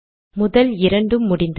முதல் இரண்டு முடிந்தது